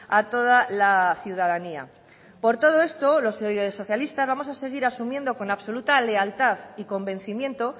a toda la ciudadanía por todo esto los socialista vamos a seguir asumiendo con absoluta lealtad y convencimiento